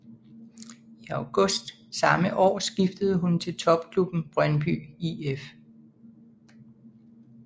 I august samme år skiftede hun til topklubben Brøndby IF